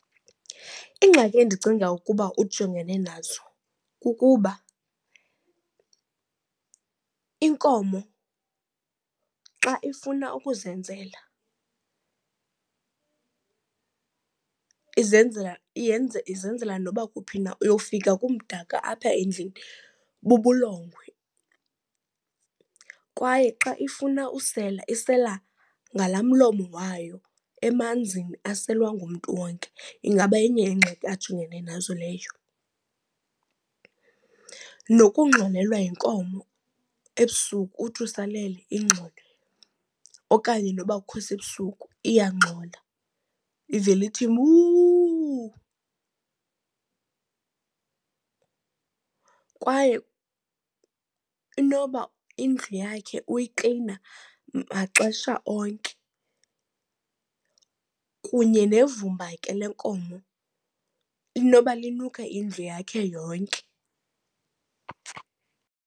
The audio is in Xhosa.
Ingxaki endicinga ukuba ujongene nazo kukuba inkomo xa ifuna ukuzenzela izenzela izenzela noba kuphi na, uyowufika kumdaka apha endlini bubulungwe. Kwaye xa ifuna usela isela ngalaa mlomo wayo emanzini aselwa ngumntu wonke, ingaba yenye yeengxaki ajongene nazo leyo. Nokungxolelwa yinkomo ebusuku uthi usalele ingxole okanye noba akukho sebusuku iyangxola ivele ithi, muuu. Kwaye inoba indlu yakhe uyiklina maxesha onke kunye nevumba ke le nkomo, inoba linuke indlu yakhe yonke.